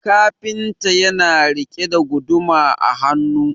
kafinta yana rike guduma a hannu